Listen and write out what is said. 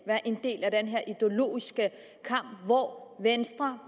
være en del af den ideologiske kamp hvor venstre